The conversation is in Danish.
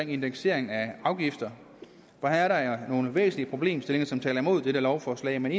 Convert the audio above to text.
indeksering af afgifter her er nogle væsentlige problemstillinger som taler imod dette lovforslag en